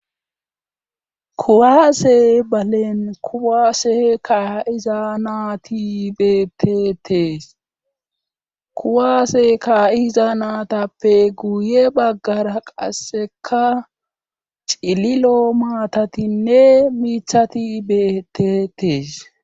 Kuwaase balen kuwaase ka'iza naati betetees kuwaase kaa'iza naatappe guye baggara qasseka cililo maatatinne miithati betetees.